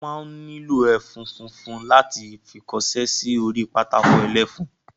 Wọ́n máa ń nílò ẹfun funfun láti fi kọsẹ́ sí orí pátákó ẹlẹ́fun